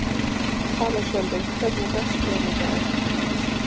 Alexander, hvernig er dagskráin í dag?